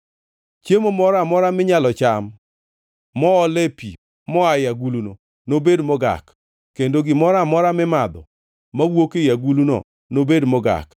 Chiemo moro amora minyalo cham moole pi moaye aguluno nobed mogak, kendo gimoro amora mimadho mowuok ei aguluno nobed mogak.